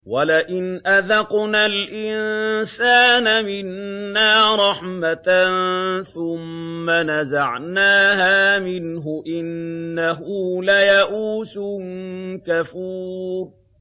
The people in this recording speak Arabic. وَلَئِنْ أَذَقْنَا الْإِنسَانَ مِنَّا رَحْمَةً ثُمَّ نَزَعْنَاهَا مِنْهُ إِنَّهُ لَيَئُوسٌ كَفُورٌ